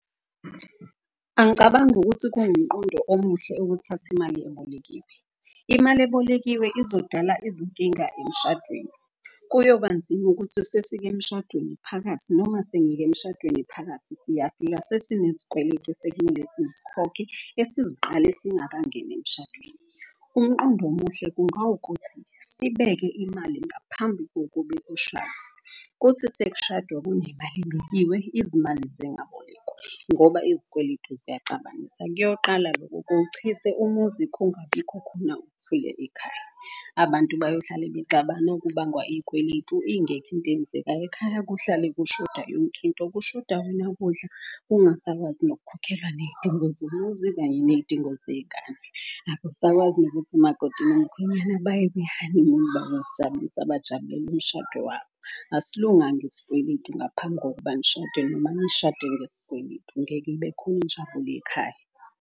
Angicabangi ukuthi kuwumqondo omuhle ukuthatha imali ebolekiwe. Imali ebolekiwe izodala ezidinga emshadweni kuyobanzima ukuthi sesike emshadweni phakathi. Noma sengike emshadweni phakathi siyafika sesinezikweletu sekumele sizikhokhe esiziqale singakangeni emshadweni. Umqondo omuhle kungawukuthi sibeke imali ngaphambi kuthi sekushadwa kunemali ebekiwe. Izimali zingabolekwa ngoba izikweletu ziyaxabanisa. Kuyoqala loko kuwuchithe umuzi kungabikho khona ekhaya. Abantu bayohlala bexabana okubangwa iy'kweletu ingekho into eyenzekayo ekhaya, kuhlale kushoda yonkinto. Kushoda wena kudla, kungasakwazi nokukhokhelwa ney'dingo zomuzi kanye ney'dingo zey'gane. Akusakwazi nokuthi umakoti nomkhwenyana baye kwihanimuni babazijabulisa, bajabulele umshado wabo. Asilunganga iskweletu ngaphambi kokuba nishade noma nishade ngeskweletu. Ngeke ibe khona injabulo ekhaya.